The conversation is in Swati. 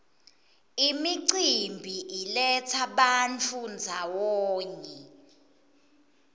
imicimbi iletsa bantfu ndzawonye